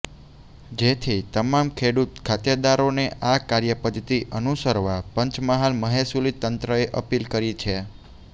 જેથી તમામ ખેડૂત ખાતેદારોને આ કાર્યપધ્ધતિ અનુસરવા પંચમહાલ મહેસુલી તંત્રએ અપીલ કરી છે